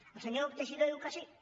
el senyor teixidó diu que sí